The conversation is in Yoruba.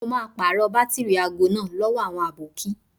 Mo máa pàrọ̀ bátìrì aago náà lówó àwọn àbókí.